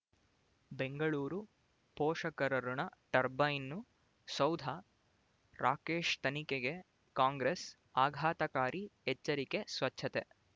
ಬೆಂಗಳೂರು ಪೋಷಕರಋಣ ಟರ್ಬೈನು ಸೌಧ ರಾಕೇಶ್ ತನಿಖೆಗೆ ಕಾಂಗ್ರೆಸ್ ಆಘಾತಕಾರಿ ಎಚ್ಚರಿಕೆ ಸ್ವಚ್ಛತೆ